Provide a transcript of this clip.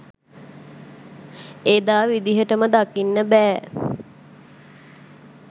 එදා විදියටම දකින්න බෑ.